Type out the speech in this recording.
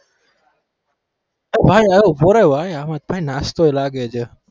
ભાઈ આયા ઉભો રે ભાઈ આમાં કઈ નાસ્તો લાગે છે.